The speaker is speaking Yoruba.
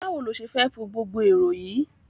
Báwo lo ṣe fẹ́ fo gbogbo erò yìí??